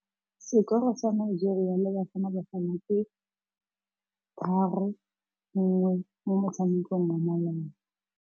Sekôrô sa Nigeria le Bafanabafana ke 3-1 mo motshamekong wa malôba.